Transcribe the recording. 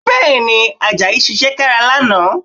Bẹ́ẹ̀, Àjàyí ṣiṣẹ́ kára lánàá